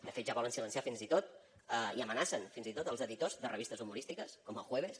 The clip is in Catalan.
de fet ja volen silenciar fins i tot i amenacen fins i tot els editors de revistes humorístiques com el jueves